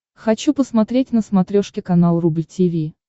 хочу посмотреть на смотрешке канал рубль ти ви